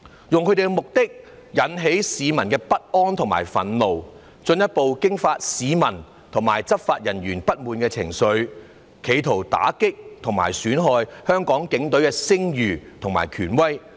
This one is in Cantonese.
他們的目的，是要引起市民的不安和憤怒，進一步激化市民對執法人員不滿的情緒，企圖打擊和損害香港警隊的聲譽和權威。